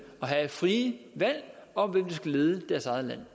at have frie valg om hvem der skal lede deres eget land